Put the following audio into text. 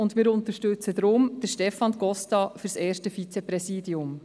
Deshalb unterstützen wir Stefan Costa für das erste Vizepräsidium.